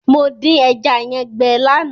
Mo dín ẹja yẹn gbẹ lánàá.